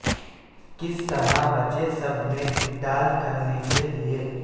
کس طرح بچے سب میں ڈال کرنے کے لئے